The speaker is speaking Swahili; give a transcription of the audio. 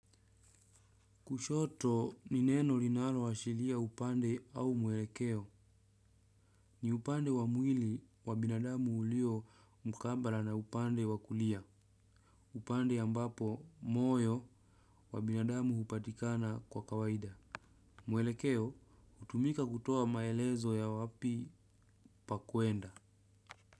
Kushoto ni neno linaloashiria upande au mwelekeo. Ni upande wa mwili wa binadamu ulio mkabala na upande wa kulia. Upande ambapo moyo wa binadamu hupatikana kwa kawaida. Mwelekeo hutumika kutoa maelezo ya wapi pa kuenda.